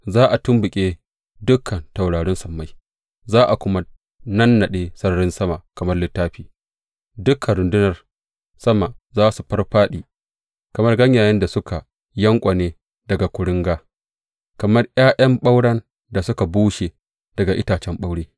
Za a tumɓuke dukan taurarin sammai za a kuma nannaɗe sararin sama kamar littafi; dukan rundunar sama za su fāffāɗi kamar ganyayen da suka yanƙwane daga kuringa, kamar ’ya’yan ɓauren da suka bushe daga itacen ɓaure.